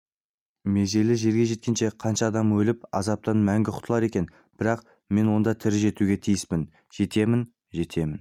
межелі жерге жеткенше қанша адам өліп азаптан мәңгі құтылар екен бірақ мен онда тірі жетуге тиіспін жетемін жетемін